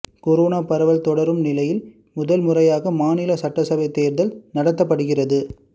corona பரவல் தொடரும் நிலையில் முதல் முறையாக மாநில சட்டசபை தேர்தல் நடத்தப்படுகிறது